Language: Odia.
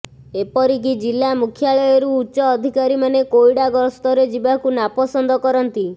ଏପରିକି ଜିଲ୍ଲା ମୁଖ୍ୟାଳୟରୁ ଉଚ୍ଚ ଅଧିକାରୀମାନେ କୋଇଡ଼ା ଗସ୍ତରେ ଯିବାକୁ ନାପସନ୍ଦ କରନ୍ତି